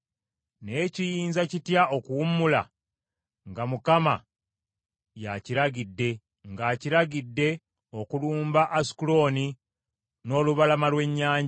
Naye kiyinza kitya okuwummula nga Mukama y’akiragidde, ng’akiragidde okulumba Asukulooni n’olubalama lw’ennyanja?”